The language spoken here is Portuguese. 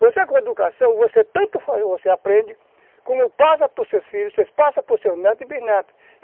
Você com educação, você tanto aprende, como passa por seus filhos, você passa por seus netos e bisnetos.